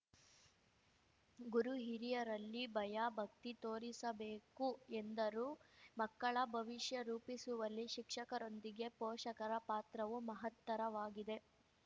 ಗುರು ಹಿರಿಯರಲ್ಲಿ ಭಯ ಭಕ್ತಿ ತೋರಿಸಬೇಕು ಎಂದರು ಮಕ್ಕಳ ಭವಿಷ್ಯ ರೂಪಿಸುವಲ್ಲಿ ಶಿಕ್ಷಕರೊಂದಿಗೆ ಪೋಷಕರ ಪಾತ್ರವೂ ಮಹತ್ತರವಾಗಿದೆ